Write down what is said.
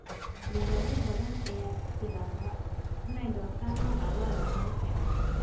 Beeraley badan ayaa ku bilaaba inay doortaan nooca lo'da ugu fiican.